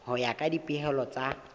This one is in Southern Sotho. ho ya ka dipehelo tsa